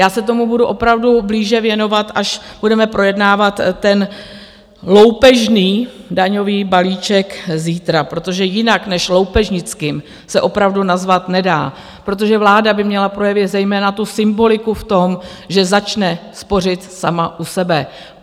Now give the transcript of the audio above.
Já se tomu budu opravdu blíže věnovat, až budeme projednávat ten loupežný daňový balíček zítra, protože jinak než loupežnickým, se opravdu nazvat nedá, protože vláda by měla projevit zejména tu symboliku v tom, že začne spořit sama u sebe.